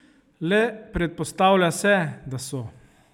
Le predpostavlja se, da so.